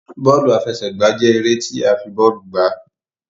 Bóòlù àfẹsẹ̀gbá jẹ eré ti a fi bóòlù gbà